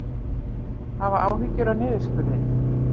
Hafa áhyggjur af niðurskurði